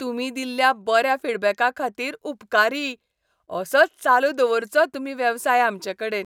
तुमी दिल्ल्या बऱ्या फीडबॅका खातीर उपकारी, असोच चालू दवरचो तुमी वेवसाय आमचेकडेन.